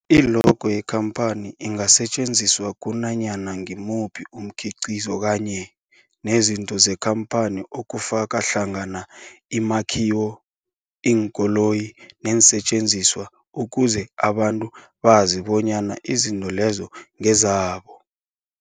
I-logo yekhamphani ingasetjenziswa kunanyana ngimuphi umkhiqizo kanye nezinto zekhamphani okufaka hlangana imakhiwo, iinkoloyi neensentjenziswa ukuze abantu bazi bonyana izinto lezo ngezabo.